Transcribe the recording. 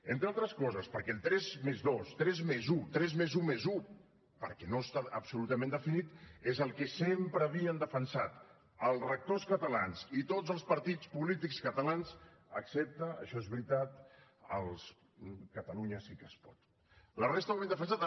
entre altres coses perquè el tres+dos tres+un tres+un+un perquè no està absolutament definit és el que sempre havien defensat els rectors catalans i tots els partits polítics catalans excepte això és veritat catalunya sí que es pot la resta ho havien defensat